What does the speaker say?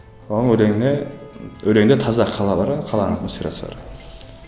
оның өлеңіне өлеңде таза қала бар ы қаланың атмосферасы бар